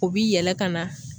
O bi yɛlɛ ka na